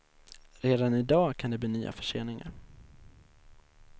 Redan i dag kan det bli nya förseningar.